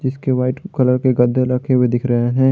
इसके white colour के गद्दे रखे हुए दिख रहे हैं।